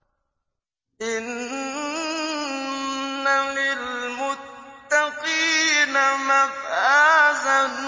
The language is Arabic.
إِنَّ لِلْمُتَّقِينَ مَفَازًا